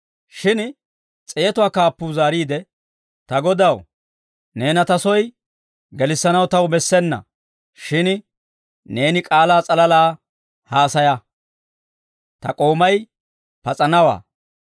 Shin s'eetuwaa kaappuu zaariide, «Ta Godaw, neena ta soy gelissanaw taw bessena; shin neeni k'aalaa s'alalaa haasaya; ta k'oomay pas'anawaa.